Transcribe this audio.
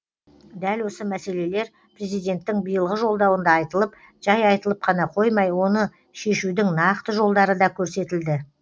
дәл осы мәселелер президенттің биылғы жолдауында айтылып жай айтылып қана қоймай оны шешудің нақты жолдары да көрсетілді